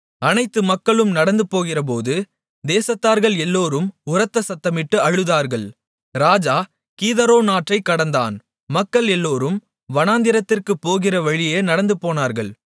அனைத்து மக்களும் நடந்துபோகிறபோது தேசத்தார்கள் எல்லோரும் உரத்த சத்தமிட்டு அழுதார்கள் ராஜா கீதரோன் ஆற்றைக் கடந்தான் மக்கள் எல்லோரும் வனாந்திரத்திற்குப் போகிற வழியே நடந்துபோனார்கள்